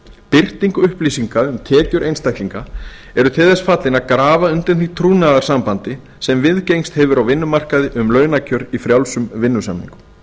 birting upplýsinga um tekjur einstaklinga er til þess fallin að grafa undan því trúnaðarsambandi sem viðgengist hefur á vinnumarkaði um launakjör í frjálsum vinnusamningum